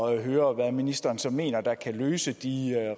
at høre hvad ministeren så mener kan løse de